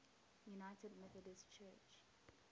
united methodist church